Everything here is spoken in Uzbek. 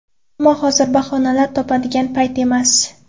Ammo hozir bahonalar topadigan payt emas.